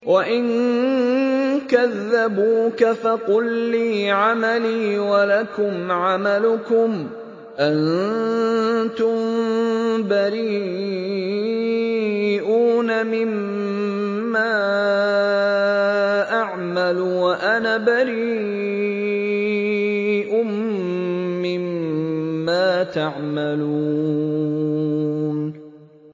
وَإِن كَذَّبُوكَ فَقُل لِّي عَمَلِي وَلَكُمْ عَمَلُكُمْ ۖ أَنتُم بَرِيئُونَ مِمَّا أَعْمَلُ وَأَنَا بَرِيءٌ مِّمَّا تَعْمَلُونَ